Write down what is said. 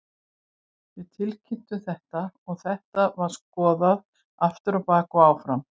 Við tilkynntum þetta og þetta var skoðað aftur á bak og áfram.